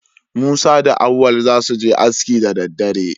Musa da Auwal za su je aski da daddare.